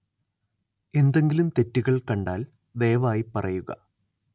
എന്തെങ്കിലും തെറ്റുകള്‍ കണ്ടാല്‍ ദയവായി പറയുക